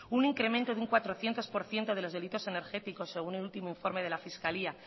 un incremento de un cuatrocientos por ciento de los delitos energéticos según el último informe de la fiscalía